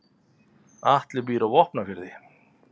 Atli býr á Vopnafirði.